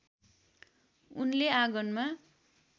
उनले आँगनमा